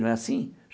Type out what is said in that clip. Não é assim?